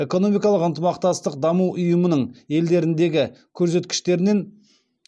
экономикалық ынтымақтастық даму ұйымының елдеріндегі көрсеткіштерінен